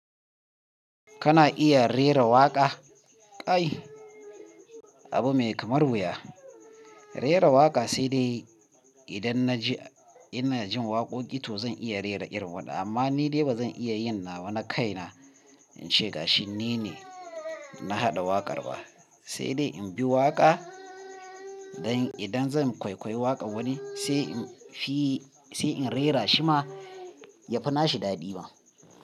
Kana iya rera waƙa? Kai, abu mai kamar wuya. Rera waƙa sai dai idan na ji, ina jin waƙoƙi to zan iya rera irin wannan. Amma ni dai ba zan iya yin nawa na kaina, in ce ga shi ni ne na haɗa waƙar ba. Sai dai in bi waƙa, dan idan zan kwaikwai waƙa wani sai in fi sai in rera shi ma ya fi nashi daɗi ma.